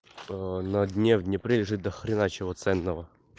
на дне в днепре лежит дохрена чего ценного